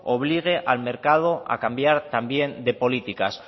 obligue al mercado a cambiar también de políticas